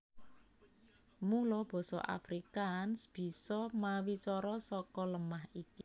Mula basa Afrikaans bisa mawicara saka lemah iki